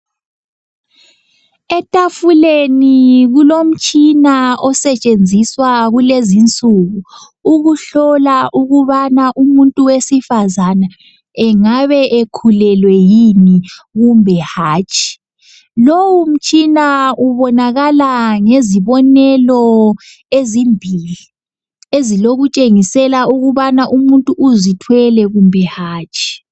Etafuleni kulomtshina osetshenziswa kulezinsuku ukuhlola ukubana umuntu wesifazana engabe ekhulelwe yini kumbe hatshi. Lowu mtshina ubonakala ngezibonelo ezimbili ezilokutshengisela ukubana umuntu uzithwele kumbe hatshi.